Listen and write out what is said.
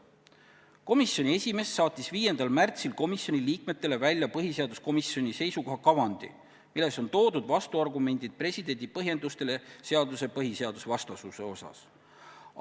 Komisjoni esimees saatis 5. märtsil komisjoni liikmetele välja põhiseaduskomisjoni seisukoha kavandi, milles on esitatud vastuargumendid presidendi põhjendustele seaduse põhiseadusvastasuse osas.